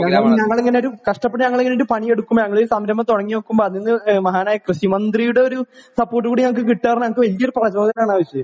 ഞങ്ങൾ ഇങ്ങനെ ഒരു കഷ്ടപ്പെട്ട് പണിയെടുക്കുമ്പോൾ ഒരു സംരംഭം തുടങ്ങിവെക്കുമ്പോൾ മഹാനായ കൃഷിമന്ത്രിയുടെ ഒരു സപ്പോർട്ടും കിട്ടുക എന്നട്ജ്ഹ് ഞങ്ങൾക്ക് വലിയൊരു വലിയൊരു പ്രോത്സാഹനമാണ്